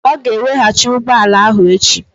Ọ ga-eweghachi ụgbọ ala ahụ echi.